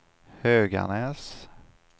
Höganäs